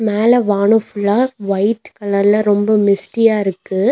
மேல வானோ ஃபுல்லா ஒயிட் கலர்ல ரொம்போ மிஸ்ட்டியா இருக்கு.